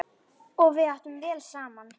Og við áttum vel saman.